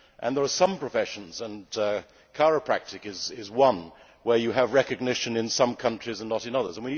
There are some professions and chiropractice is one where you have recognition in some countries and not in others.